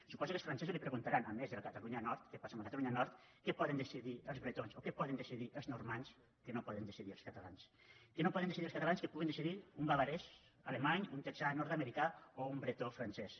suposo que els francesos li preguntaran a més de la catalunya nord què passa amb la catalunya nord què poden decidir els bretons o què poden decidir els normands que no poden decidir els catalans què no poden decidir els catalans que puguin decidir un bavarès alemany un texà nord americà o un bretó francès